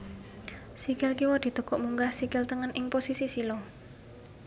Sikil kiwa ditekuk munggah sikil tengen ing posisi sila